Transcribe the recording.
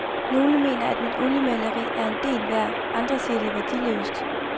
Nogle mener, at mit oliemaleri er en del værd, andre siger det er værdiløst.